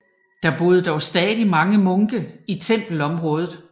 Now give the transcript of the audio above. Der boede dog stadig mange munke på tempelområdet